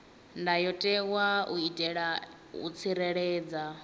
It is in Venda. ndayotewa u itela u tsireledza